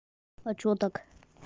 а чего так